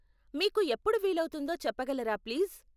మీకు ఎప్పుడు వీలవుతుందో చెప్పగలరా ప్లీజ్ ?